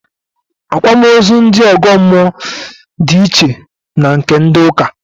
Àkwámaózú ndị ọ̀gọ́mmụọ di iche na nke ndị ụ́kà